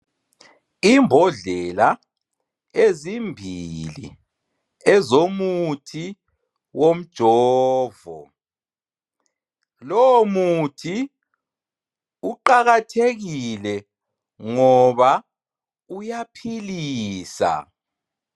Imbhodlela ezimbili ezomuthi womjovo ,lowo muthi uqakathekile ngoba uyaphilisa